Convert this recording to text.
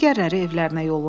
Digərləri evlərinə yollandı.